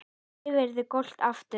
Þá verður allt gott aftur.